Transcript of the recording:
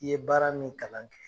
I ye baara min kalan kɛ